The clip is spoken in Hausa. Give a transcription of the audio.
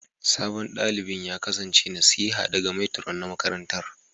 Sabon dalibin ya kasance nasiha daga Matron na makarantar